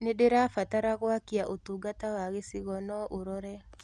nĩndĩrabatara gwakĩa ũtũngata wa gĩchĩgo no ũrore